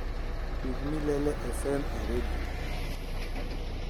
tug mille fm e redio